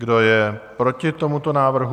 Kdo je proti tomuto návrhu?